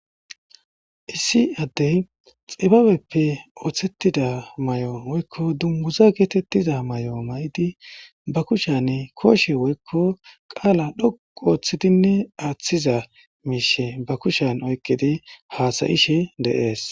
Issi addey xibabeppe ooththettida may7o woykko dumbuza geetettiza may7o ma7idi ba kushane kooshe woykko qaala dhoqu ooththidinne aaththiza miishe ba kushen oyqidi haasayishe deees